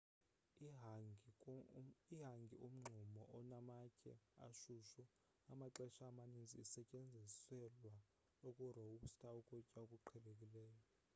ihangi-umngxumo onamatye ashushu amaxesha amaninzi isetyenziselwa ukurowusta ukutya okuqhelekileyo